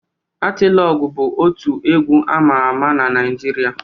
Atilogwu bụ otu egwu ama ama na Naịjirịa